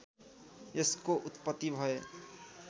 यसको उत्पत्ति भए